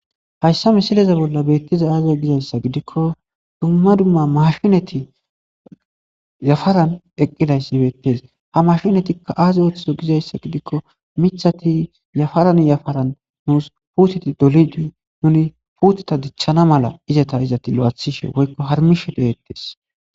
hayssa misileza bolla beettiza aaza gizayssa gidikko dumma dumma mashinati yafaran eqqidayssi beettes ha mashinatikka aaz oothizo gizayssa gidikko mithati yafaran yafaran nuus puuteti dolidi nuni puuteta dichchana mala izata izati lo'athishe woykko harmishe dehettes